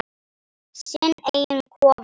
Sinn eiginn kofa.